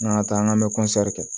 An ka taa an ka kɛ